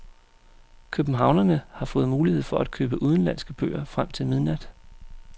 Københavnerne har fået mulighed for at købe udenlandske bøger frem til midnat.